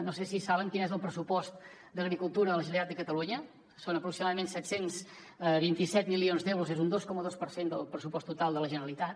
no sé si saben quin és el pressupost d’agricultura a la generalitat de catalunya són aproximadament set cents i vint set milions d’euros un dos coma dos per cent del pressupost total de la generalitat